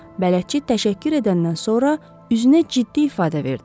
Bələdçi təşəkkür edəndən sonra üzünə ciddi ifadə verdi.